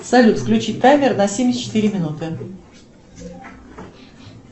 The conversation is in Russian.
салют включи таймер на семьдесят четыре минуты